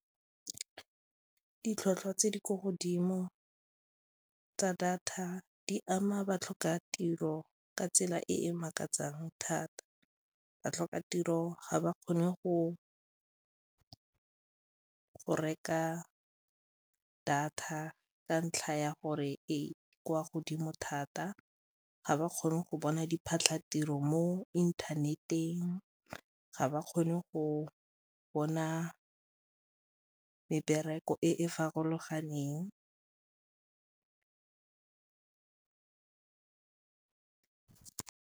Ditlhwatlhwa tse di kwa godimo tsa data di ama batlhokatiro ka tsela e makatsang thata, batlhokatiro ga ba kgone go reka data ka ntlha ya gore e kwa godimo thata, ga ba kgone go bona diphatlhatiro mo inthaneteng, ga ba kgone go bona mebereko e e farologaneng.